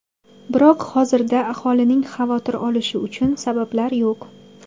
Biroq hozirda aholining xavotir olishi uchun sabablar yo‘q.